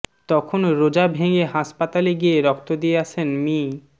তখন রোজা ভেঙ্গে হাসপাতালে গিয়ে রক্ত দিয়ে আসেন মি